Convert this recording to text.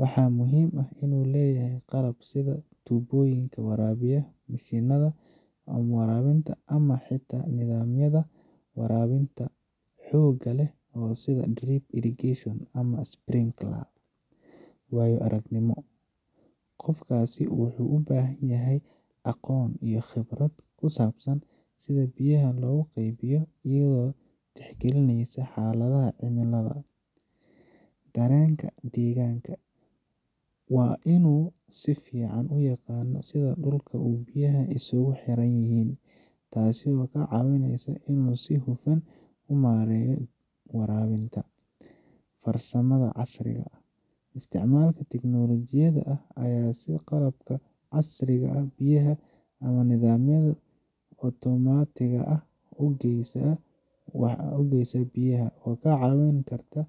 Waxaa muhiim ah in uu leeyahay qalab sida tuubooyinka waraabinta, mashiinnada waraabinta, ama xitaa nidaamyada waraabinta xoogga leh sida drip irrigation ama sprinklers. Waayo aragnimo: Qofkaasi wuxuu u baahan yahay aqoon iyo khibrad ku saabsan sida biyaha loo qaybiyo iyadoo la tixgelinayo xaaladaha cimilada iyo noocyada dhirta. Dareenka deegaanka: Waa in uu si fiican u yaqaan sida dhulka iyo biyaha ay isugu xiran yihiin, taasoo ku caawinaysa inuu si hufan u maareeyo waraabinta. Farsamada casriga ah: Isticmaalka tiknoolajiyadda casriga ah sida qalabka cabirka biyaha ama nidaamyada otomaatigga ah ee waraabinta waxay ka caawin kartaa.